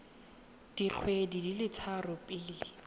dikgwedi di le tharo pele